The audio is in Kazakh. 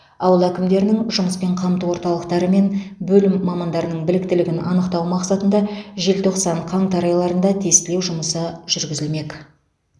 ауыл әкімдерінің жұмыспен қамту орталықтары мен бөлім мамандарының біліктілігін анықтау мақсатында желтоқсан қаңтар айларында тестілеу жұмысы жүргізілмек